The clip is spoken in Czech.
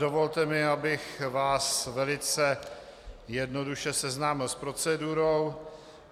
Dovolte mi, abych vás velice jednoduše seznámil s procedurou.